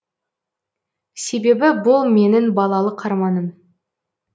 себебі бұл менің балалық арманым